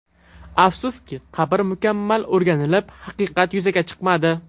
Afsuski, qabr mukammal o‘rganilib, haqiqat yuzaga chiqmadi.